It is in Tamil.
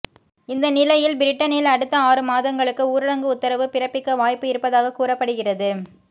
இந்த நிலையில் பிரிட்டனில் அடுத்த ஆறு மாதங்களுக்கு ஊரடங்கு உத்தரவு பிறப்பிக்க வாய்ப்பு இருப்பதாக கூறப்படுகிறது